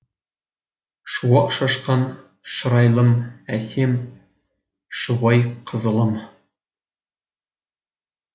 шуақ шашқан шырайлым әсем шұбайқызылым